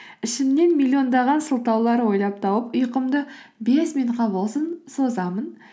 ішімнен миллиондаған сылтаулар ойлап тауып ұйқымды бес минутқа болсын созамын